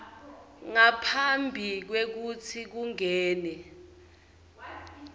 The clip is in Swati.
ngaphambi kwekutsi kungene